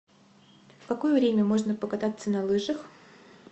в какое время можно покататься на лыжах